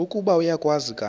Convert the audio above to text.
ukuba uyakwazi kanti